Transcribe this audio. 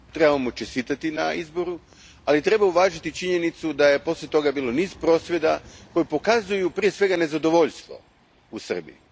Treba mu čestitati na izboru, ali treba uvažiti činjenicu da je poslije toga bilo niz prosvjeda koji pokazuju prije svega nezadovoljstvo u Srbiji.